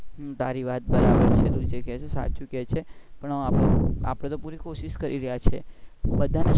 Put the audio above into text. તારી વાત બધી બરાબર છે જે કે છે સાચું કે છે પણ આપણે તો પુરી કોશિશ કરી રહ્યા છે બધા ને